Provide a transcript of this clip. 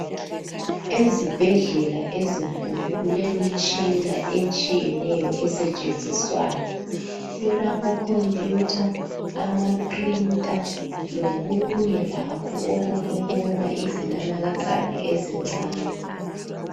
Ezibhedlela ezinkulu kulemitshina etshiyeneyo esetshenziswayo kulamacomputer amaprinter lokunye lakho okokubona izinanakazana ezincane.